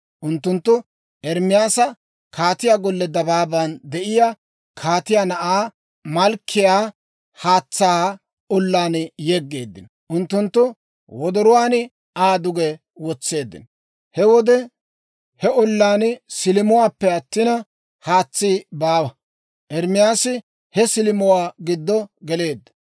Unttunttu Ermaasa kaatiyaa golliyaa dabaaban de'iyaa, kaatiyaa na'aa Malkkiyaa haatsaa ollaan yegeeddino; unttunttu wodoruwaan Aa duge wotseeddino. He wode he ollaan silimuwaappe attina, haatsi baawa; Ermaasi he silimuwaa giddo geleedda.